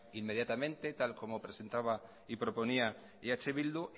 inmediatamente tal como presentaba y proponía eh bildu